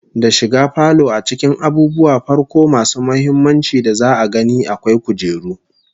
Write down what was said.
Da shiga falo a cikin abubuwan farko masu muhimmanci da za'a gani, akwai kujeru